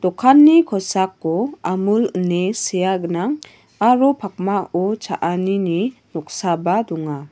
dokani kosako amul ine sea gnang aro pakmao cha·anini noksaba donga.